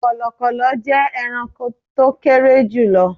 Kọ̀lọ̀kọ̀lọ̀ jẹ́ ẹranko tó kéré jùlọ